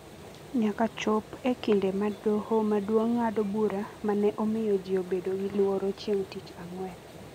nyaka chop e kinde ma Doho Maduong’ ng’ado bura ma ne omiyo ji obedo gi luoro chieng’ tich ang’wen.